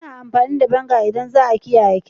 Ana amfani da vinegar idan za'a kiyaye cake.